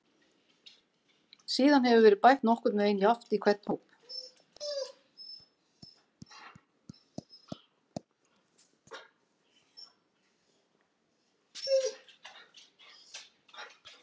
Síðan hefur verið bætt nokkurn veginn jafnt í hvern hóp.